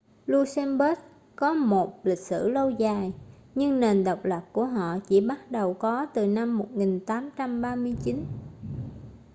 luxembourg có một lịch sử lâu dài nhưng nền độc lập của họ chỉ bắt đầu có từ năm 1839